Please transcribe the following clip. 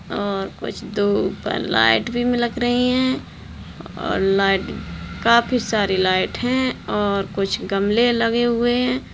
और कुछ तो ऊपर लाइट भी में लग रही है और लाइट काफी सारी लाइट है और कुछ गमले लगे हुए है।